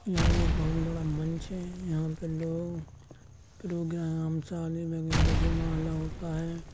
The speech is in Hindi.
यहां एक बहुत बड़ा मंच है। यहां पर लोग प्रोग्राम शादी वैगेरह जयमाला होता है।